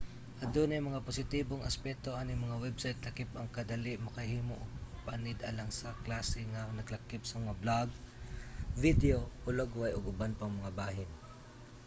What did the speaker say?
adunay mga positibong aspeto aning mga website lakip ang kadali makahimo og panid alang sa klase nga naglakip sa mga blog video hulagway ug uban pang mga bahin